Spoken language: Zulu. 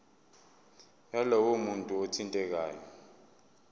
yalowo muntu othintekayo